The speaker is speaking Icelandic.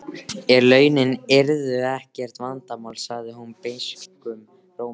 En launin yrðu ekkert vandamál, sagði hún beiskum rómi.